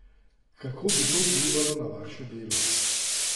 Kako bi to vplivalo na vaše delo?